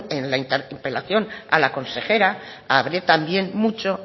en la interpelación a la consejera hablé también mucho